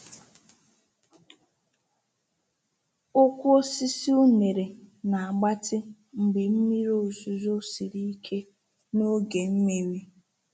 Ụkwụ osisi unere na-agbatị mgbe mmiri ozuzo siri ike n’oge mmiri.